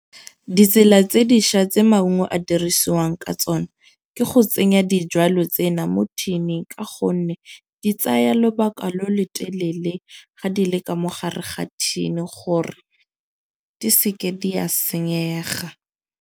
Ditsela tse dišwa tse maungo a dirisiwang ka tsona, ke go tsenya dijwalo tsena mo tin-ing. Ka gonne di tsaya lobaka lo lo telele ga di le ka mo gare ga thini gore di seke di a senyega.